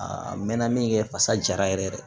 Aa n mɛɛnna min kɛ fasa jara yɛrɛ ye